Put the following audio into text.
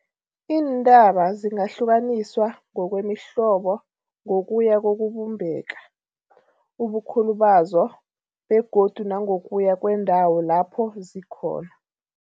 Iintaba zingahlukaniswa ngokwemihlobo ngokuya kokubumbeka, ubukhulu bazo begodu nangokuya kwendawo lapho zikhona.